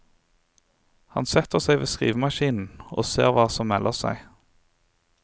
Han setter seg ved skrivemaskinen og ser hva som melder seg.